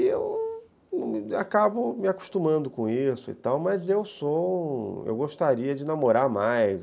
Aí eu acabo me acostumando com isso e tal, mas eu gostaria de namorar mais.